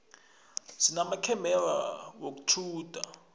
sinamakhamera wokutjhuda